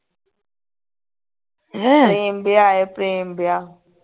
ਪ੍ਰੇਮ ਵਿਆਹ ਏ ਪ੍ਰੇਮ ਵਿਆਹ